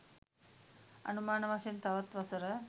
අනුමාන වශයෙන් තවත් වසර